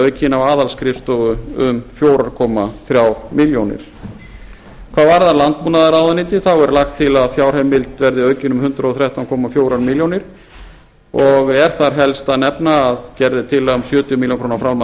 aukin á aðalskrifstofu um fjóra komma þremur milljónum hvað varðar landbúnaðarráðuneytið er lagt til að fjárheimild verði aukin um hundrað og þrettán komma fjórum milljónum og er þar helst að nefna að gerð er tillaga um sjötíu milljónum króna framlag